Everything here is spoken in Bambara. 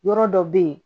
Yɔrɔ dɔ bɛ yen